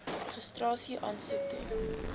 registrasie aansoek doen